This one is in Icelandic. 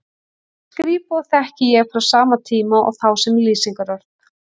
Skrípó þekki ég frá sama tíma og þá sem lýsingarorð.